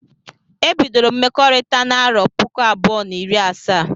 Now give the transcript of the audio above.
Ebidoro m mmekọrita n'arọ puku abụọ na iri asa